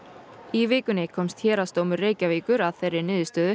í vikunni komst Héraðsdómur Reykjavíkur að þeirri niðurstöðu